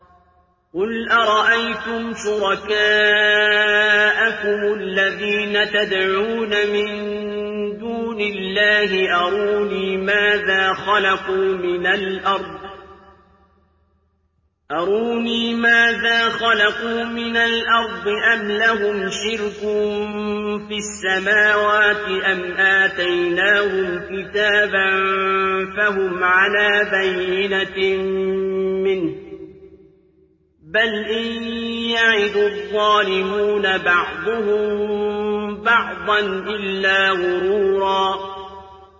قُلْ أَرَأَيْتُمْ شُرَكَاءَكُمُ الَّذِينَ تَدْعُونَ مِن دُونِ اللَّهِ أَرُونِي مَاذَا خَلَقُوا مِنَ الْأَرْضِ أَمْ لَهُمْ شِرْكٌ فِي السَّمَاوَاتِ أَمْ آتَيْنَاهُمْ كِتَابًا فَهُمْ عَلَىٰ بَيِّنَتٍ مِّنْهُ ۚ بَلْ إِن يَعِدُ الظَّالِمُونَ بَعْضُهُم بَعْضًا إِلَّا غُرُورًا